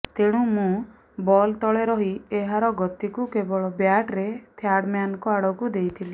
ତେଣୁ ମୁଁ ବଲ୍ ତଳେ ରହି ଏହାର ଗତିକୁ କେବଳ ବ୍ୟାଟ୍ରେ ଥାର୍ଡମ୍ୟାନଙ୍କ ଆଡ଼କୁ ଦେଇଥିଲି